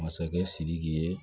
Masakɛ sidiki ye